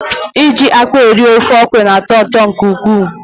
Iji akpụ eri ofe ọkọrọ na-atọ ụtọ nke ukwuu.